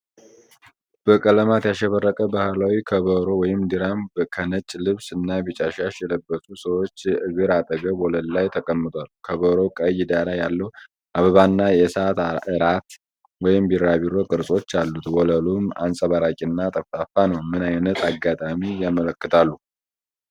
በቀለማት ያሸበረቀ ባህላዊ ከበሮ (ድራም) ከነጭ ልብስ እና ቢጫ ሻሽ የለበሱ ሰዎች እግር አጠገብ ወለል ላይ ተቀምጧል። ከበሮው ቀይ ዳራ ያለው አበባና የእሳት እራት (ቢራቢሮ) ቅርጾች አሉት። ወለሉም አንጸባራቂ እና ጠፍጣፋ ነው። ምን ዓይነት አጋጣሚ ያመለክታሉ?